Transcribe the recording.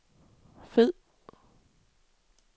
fed